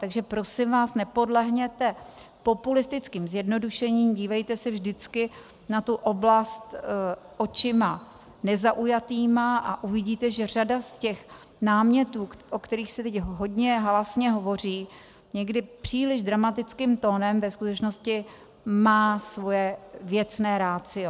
Takže prosím vás, nepodlehněte populistickým zjednodušením, dívejte se vždycky na tu oblast očima nezaujatýma a uvidíte, že řada z těch námětů, o kterých se teď hodně hlásně hovoří, někdy příliš dramatickým tónem, ve skutečnosti má svoje věcné ratio.